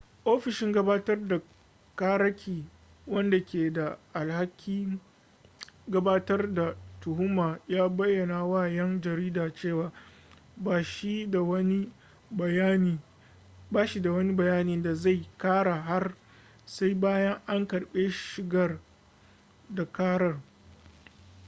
ofishin gabatar da ƙararraki wanda ke da alhakin gabatar da tuhuma ya bayyana wa 'yan jarida cewa ba shi da wani bayani da zai kara har sai bayan an karbi shigar da karar